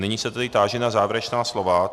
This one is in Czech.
Nyní se tedy táži na závěrečná slova.